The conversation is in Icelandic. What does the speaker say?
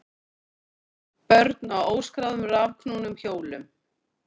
Börn á óskráðum rafknúnum hjólum